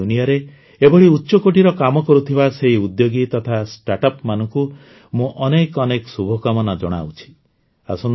ଖେଳନାର ଦୁନିଆରେ ଏଭଳି ଉଚ୍ଚକୋଟୀର କାମ କରୁଥିବା ସେଇ ଉଦ୍ୟୋଗୀ ତଥା ଷ୍ଟାର୍ଟଅପ ମାନଙ୍କୁ ମୁଁ ଅନେକ ଅନେକ ଶୁଭକାମନା ଜଣାଉଛି